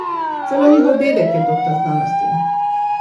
Celo njihov dedek je doktor znanosti.